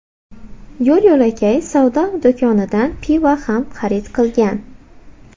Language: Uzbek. Yo‘l-yo‘lakay savdo do‘konidan pivo ham xarid qilgan.